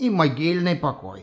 и могильный покой